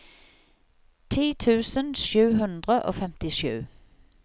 ti tusen sju hundre og femtisju